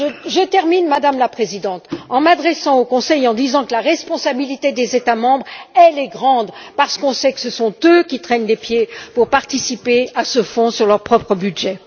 Je termine, Madame la Présidente, en disant au Conseil que la responsabilité des États membres est grande, parce que nous savons que ce sont eux qui traînent les pieds pour participer à ce Fonds sur leur propre budget.